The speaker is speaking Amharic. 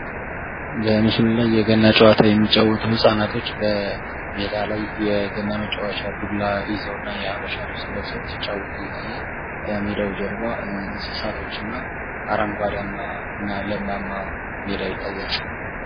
በምሥሉ ላይ የገና ጨዋታ የሚጫወቱ ህፃናቶች በሜዳ ላይ የገና መጫወቻ ዱላ ይዘው እና የሀበሻ ልብስ ለብሰው ሲጫወቱ ይታያል። ከሜዳው ጀርባ እንስሳቶች እና አረንጓዴያማ እና ለምላማማ ሜዳ ይታያል።